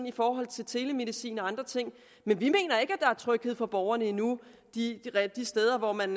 i forhold til telemedicin og andre ting men vi mener ikke at er tryghed for borgerne endnu de steder hvor man